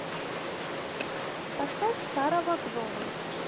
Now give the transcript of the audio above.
поставь старого гнома